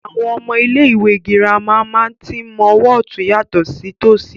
Àwọn ọmọ ilé ìwé gírámà máa tí ń mọ ọwọ otun yàtọ̀ sí tòṣì